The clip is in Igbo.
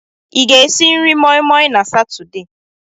Ị ga-esi nri moi moi na Satọde?